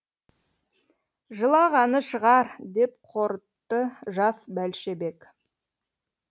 жылағаны шығар деп қорытты жас бәлшебек